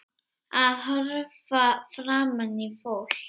Að horfa framan í fólk.